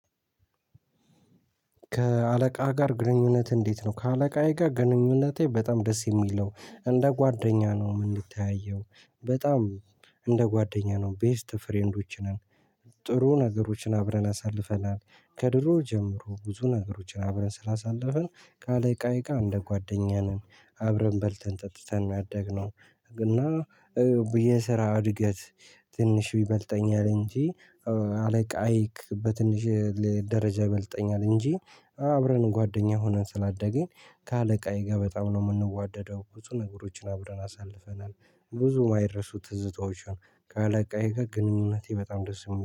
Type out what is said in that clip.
ከአለቃህ ጋር ግንኙነት እንዴት ነው? ከአለቃዬ ጋር ግንኙነቴ በጣም ደስ የሚል ነው እንደ ጓደኛ ነው የምንተያየው በጣም እንደ ጓደኛ ነው ቤስት ፍሬንዶች ነን። ጥሩ ነገሮችን አብረን አሳልፈናል። ከድሮ ጀምሮ ብዙ ነገሮችን አብረን ስላሳለፍን ካለ ቀይጋ እንደ ጓደኛ ነን። አብረን በልተን ጠጥተን ነው ያደግነው። እና የስራ እድገት ትንሽ ቢበልጠኝ አለ እንጂ አለቃይክ በትንሽ ደረጃ ቢበልጠኝ እንጂ አብረን ጓደኛ ሆነን ስላደገን። ከአለቃዬ ጋር በጣም ነው የምንዋደደው ብዙ ነገሮችን አብረን አሳልፈናል። ብዙ የማይረሱ ትዝታዎችን ካለቃዬ ጋር ግንኙነቴ በጣም ደስ የሚለው